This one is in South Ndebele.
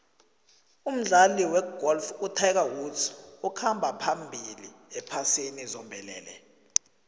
umdlali wegolf utiger woods ukhamba phambili ephasini zombelele